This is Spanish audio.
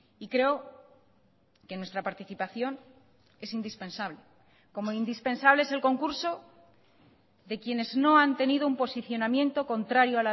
y creo que nuestra participación es indispensable como indispensable es el concurso de quienes no han tenido un posicionamiento contrario